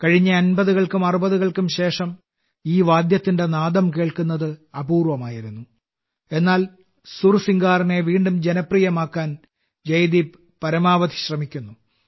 കഴിഞ്ഞ 50കൾക്കും 60കൾക്കും ശേഷം ഈ വാദ്യത്തിന്റെ നാദം കേൾക്കുന്നത് അപൂർവമായിരുന്നു എന്നാൽ സുർസിംഗാറിനെ വീണ്ടും ജനപ്രിയമാക്കാൻ ജയദീപ് പരമാവധി ശ്രമിക്കുന്നു